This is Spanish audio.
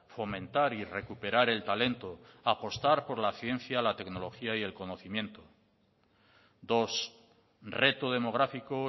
fomentar y recuperar el talento apostar por la ciencia la tecnología y el conocimiento dos reto demográfico